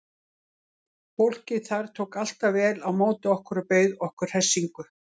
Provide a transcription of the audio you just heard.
Fólkið þar tók alltaf vel á móti okkur og bauð okkur hressingu.